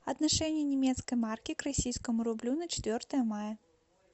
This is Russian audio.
отношение немецкой марки к российскому рублю на четвертое мая